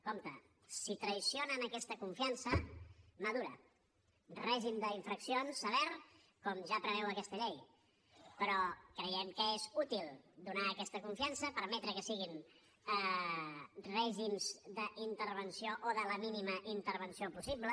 compte si traeixen aquesta confiança mà dura règim d’infraccions sever com ja preveu aquesta llei però creiem que és útil donar aquesta confiança permetre que siguin règims d’intervenció o de la mínima intervenció possible